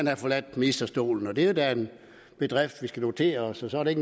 har forladt ministerstolen og det er jo da en bedrift vi skal notere os og så er det